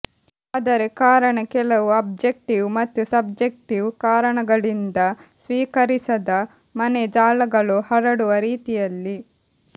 ಆದರೆ ಕಾರಣ ಕೆಲವು ಆಬ್ಜೆಕ್ಟಿವ್ ಮತ್ತು ಸಬ್ಜೆಕ್ಟಿವ್ ಕಾರಣಗಳಿಂದ ಸ್ವೀಕರಿಸದ ಮನೆ ಜಾಲಗಳು ಹರಡುವ ರೀತಿಯಲ್ಲಿ